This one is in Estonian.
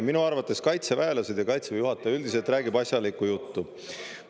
Minu arvates kaitseväelased ja Kaitseväe juhataja üldiselt räägivad asjalikku juttu.